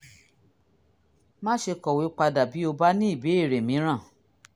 má ṣe kọ̀wé padà bí o bá ní ìbéèrè mìíràn